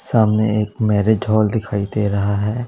सामने एक marriage hall दिखाई दे रहा है।